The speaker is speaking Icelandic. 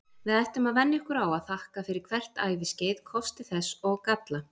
Við ættum að venja okkur á að þakka fyrir hvert æviskeið, kosti þess og galla.